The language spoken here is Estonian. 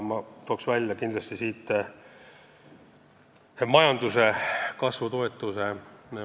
Ma toon kindlasti välja majanduskasvu toetamise.